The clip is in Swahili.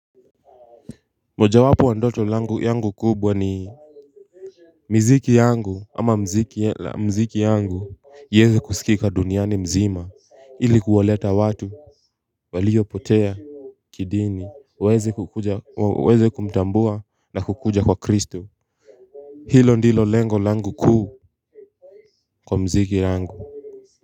Mojawapo ya ndoto langu yangu kubwa ni miziki yangu ama mziki yangu ieze kusikika duniani mzima ili kuwaleta watu Waliyopotea Kidini waeze kumtambua na kukuja kwa kristo. Hilo ndilo lengo langu kuu kwa mziki yangu. Kwa hivyo.